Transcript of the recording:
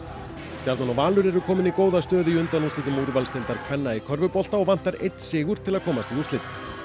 stjarnan og Valur eru komin í góða stöðu í undanúrslitum úrvalsdeildar kvenna í körfubolta og vantar einn sigur til að komast í úrslit